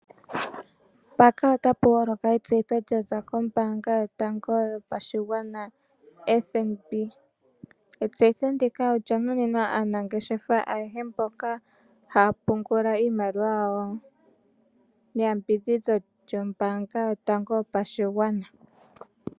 Mpaaka ota pu holoka etseyitho lyaza kombanga yotango yopashigwana (FNB).Etseyitho ndika olya monenwa aanangeshefa ayehe mboka haya pungula iimaliwa yawo neyambidhidho lyombanga yopashigwana.